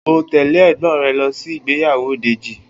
O óò tè̩lé è̩gbó̩n re̩ lo̩ sí ìgbéyàwó Dèjì!